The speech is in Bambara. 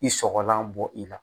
I sɔgɔlan bɔ i la